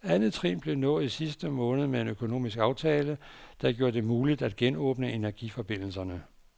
Andet trin blev nået i sidste måned med en økonomisk aftale, der gjorde det muligt at genåbne energiforbindelserne.